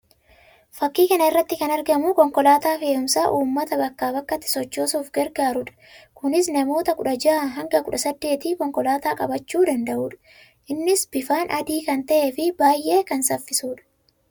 Fakkii kana irratti kan argamu konkolaataa fe'umsaa uummata bakkaa bakkatti sochoosuuf gargaaruu dha. Kunis namoota kudha ja'aa hanga kudha saddeetii konkolaataa qabachuu danda'uu dha. Innis bifaan adii kan ta'ee fi baayyee kan saffisuu dha.